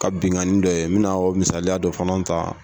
Ka binganin dɔ ye n bɛ na o misaliya dɔ fana ta.